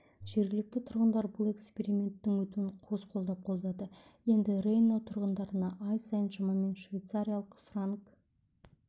жергілікті тұрғындар бұл эксперименттің өтуін қос қолдап қолдады енді рейнау тұрғындарына ай сайын шамамен швейцариялық франк